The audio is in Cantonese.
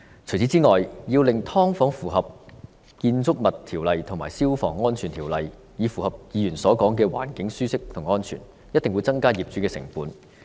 此外，要令"劏房"符合《建築物條例》和《消防安全條例》，以達至議員所說的環境舒適和安全，一定會增加業主的成本。